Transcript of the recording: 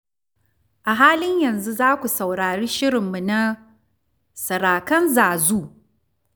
A halin yanzu za ku saurari shirinmu na "Sarakan Zazu".